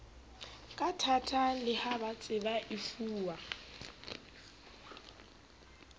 kathata le ha baseba efuwa